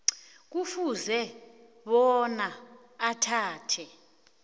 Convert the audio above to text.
kufuze bona athathe